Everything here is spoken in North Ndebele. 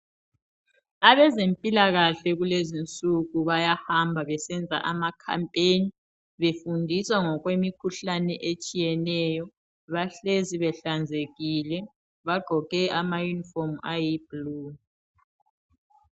Abezempilakahle kulezinsuku bayahamba besenza ama "Campaign"befundisa ngokwemikhuhlane etshiyeneyo, bahlezi behlanzekile bagqoke ama"uniform " ayi "blue".